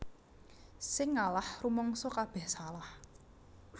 Sing ngalah rumangsa kabeh salah